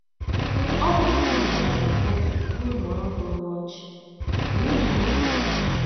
Ọ BỤRỤ na mmadụ ahụ gị mụmụọrọ gị ọnụ ọchị, olee ihe ị ga - eme?